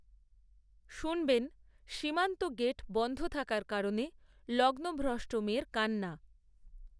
শুনবেন সীমান্ত গেট বন‌ধ থাকার কারণে লগ্নভ্রষ্ট মেয়ের কান্না